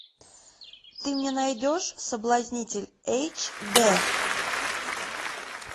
ты мне найдешь соблазнитель эйч д